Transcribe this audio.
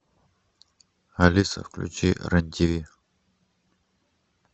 алиса включи рен тв